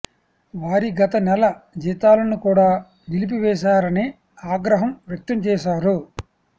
వారి గత నెల జీతాలను కూడా నిలిపివేశారని ఆగ్రహం వ్యక్తం చేశారు